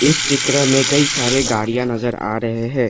इस चित्र में कई सारे गाड़ियां नजर आ रहे हैं।